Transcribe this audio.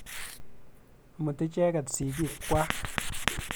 Imuti icheket sigik kwak.